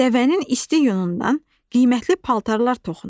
Dəvənin isti yunundan qiymətli paltarlar toxunur.